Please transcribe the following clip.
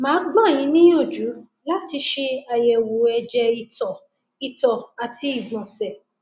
màá gbà yín níyànjú láti ṣe àyẹwò ẹjẹ ìtọ ìtọ àti ìgbọnsẹ